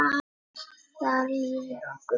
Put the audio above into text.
Þar líður okkur vel.